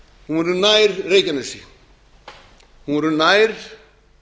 hún verður nær reykjanesi hún verður nær